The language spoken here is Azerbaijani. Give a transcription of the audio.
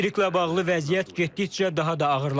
Elektriklə bağlı vəziyyət getdikcə daha da ağırlaşır.